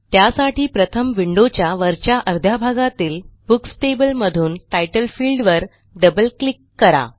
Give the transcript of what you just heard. त्यासाठी प्रथम विंडोच्या वरच्या अर्ध्या भागातील बुक्स टेबल मधून तितले फील्ड वर डबल क्लिक करा